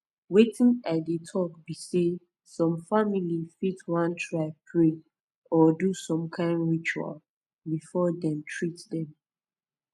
wetin i dey talk b say some famili fit wan try pray or do some kin ritual before them treat them